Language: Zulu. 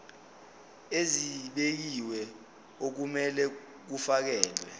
ezibekiwe okumele kufakelwe